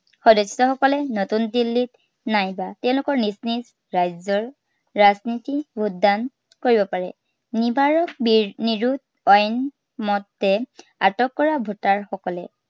সদস্য়সকলে নতুন দিল্লীত নাইবা তেওঁলোকৰ নিজ নিজ ৰাজ্য়ৰ ৰাজধানীত vote দান কৰিব পাৰে। নিৰ্চাচনী আয়োগৰ আইন মতে কৰা voter সকলে